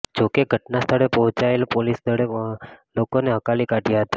જોકે ઘટના સ્થળે પહોંચેલા પોલીસ દળે લોકોને હકાલી કાઢ્યા હતા